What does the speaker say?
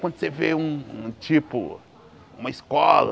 Quando você vê um um tipo, uma escola,